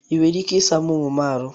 I nwere ike ị sara m ụmụ m ahụ?